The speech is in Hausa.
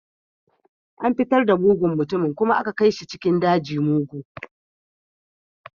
An fitar da mugun mutumin kuma aka kai shi cikin dajin mugu